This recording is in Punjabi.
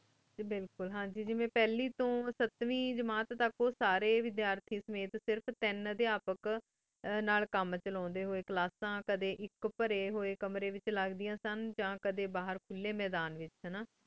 ਜੀ ਬਿਲਕੁਲ ਹਨ ਜੀ ਮੈਂ ਫਲੀ ਤੂੰ ਸਾਤਵੇੰ ਜਮਾਤ ਤਕ ਓਸਰੀ ਵੇਦੇਰਤੀ ਸਮਿਤ ਓ ਸਿਰਫ ਤੀਨ ਕੀ ਨਾਲ ਕਾਮ ਚਲੂਂ ਡੀ ਹੂਯ ਨਾਲ ਕ੍ਲਾਸ੍ਸਾਂ ਕਦੀ ਆਇਕ ਪਰੀ ਹੂਯ ਕਾਮ ਰੀ ਵੇਚ ਲਗਦੀ ਹੂਯ ਸਨ ਯਾ ਕਦੀ ਬਾਹਰ ਖੁਲੀ ਮਿਦਨ ਵੇਚ ਲਗ੍ਦ੍ਯਾਂ ਸਨ